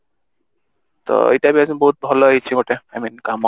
ତ ଏଇଟା ବି ବହୁତ ଭଲ ହୋଇଛି ଗୋଟେ I mean କାମ